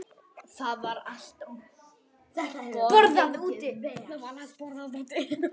Það var alltaf borðað úti.